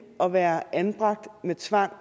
at være anbragt med tvang